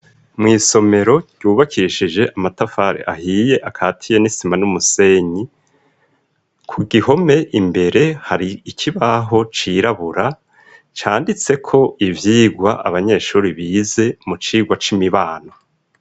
Mw'isomero ryubakishije amatafari ahiye akatiye n'isima n'umusenyi ku gihome imbere hari ikibaho cirabura canditse ko ibyigwa abanyeshuri bize mu cigwa c'imibano.